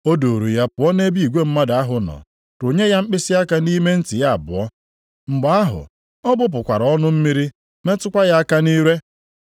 O duuru ya pụọ nʼebe igwe mmadụ ahụ nọ, rụnye ya mkpịsịaka nʼime ntị ya abụọ. Mgbe ahụ ọ gbụpụkwara ọnụ mmiri metụkwa ya aka nʼire.